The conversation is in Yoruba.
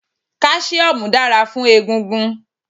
Kálísíómù dára fún egungun